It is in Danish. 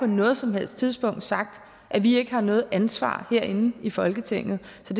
noget som helst tidspunkt sagt at vi ikke har noget ansvar herinde i folketinget så